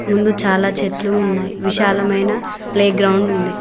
ముందు చాలా చెట్లు ఉన్నాయ్ విశాలమైన ప్లేగ్రౌండ్ ఉంది.